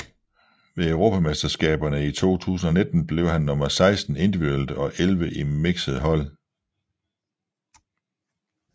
Ved europamesterskaberne i 2019 blev han nummer 16 individuelt og 11 i mixed hold